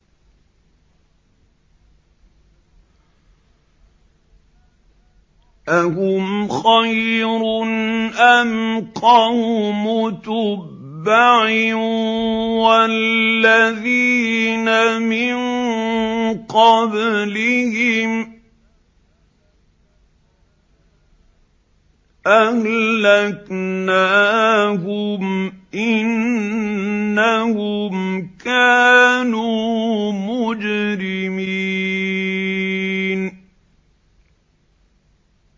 أَهُمْ خَيْرٌ أَمْ قَوْمُ تُبَّعٍ وَالَّذِينَ مِن قَبْلِهِمْ ۚ أَهْلَكْنَاهُمْ ۖ إِنَّهُمْ كَانُوا مُجْرِمِينَ